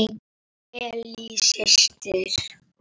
Ellý systir.